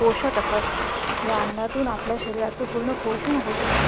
पोशाख असं असत या अन्नातून आपल्या शरीराच पूर्ण पोषण होत असत.